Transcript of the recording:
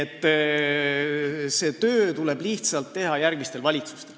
See töö tuleb lihtsalt teha järgmistel valitsustel.